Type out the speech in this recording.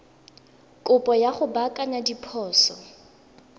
kopo ya go baakanya diphoso